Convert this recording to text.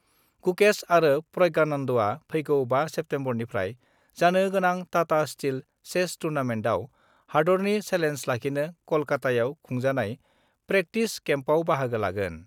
गुकेश आरो प्रज्ञानन्दआ फैगौ 5 सेप्तेम्बरनिफ्राय जानो गोनां टाटा स्टील चेस टुर्नामेन्टआव हादरनि सेलेन्ज लाखिनो कलकाताआव खुंजानाय प्रेक्टिस केम्पआव बाहागो लागोन।